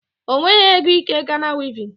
O nweghị ego ike Ghana wivin